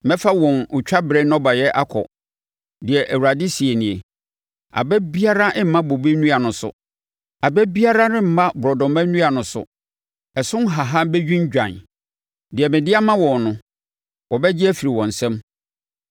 “ ‘Mɛfa wɔn otwa berɛ nnɔbaeɛ akɔ, deɛ Awurade seɛ nie. Aba biara remma bobe nnua no so. Aba biara remma borɔdɔma nnua no so, ɛso nhahan bɛdwindwan. Deɛ mede ama wɔn no wɔbɛgye afiri wɔn nsam.’ ”